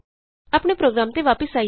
ਆਪਣੇ ਪ੍ਰੋਗਰਾਮ ਤੇ ਵਾਪਸ ਆਈਏ